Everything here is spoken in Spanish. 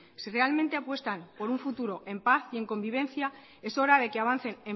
si realmente apuestan por un futuro en paz y en convivencia es hora de que avancen